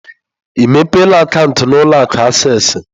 Ị mepela akaụntụ na ụlọ akụ acesịị?